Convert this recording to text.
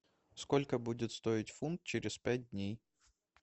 сколько будет стоить фунт через пять дней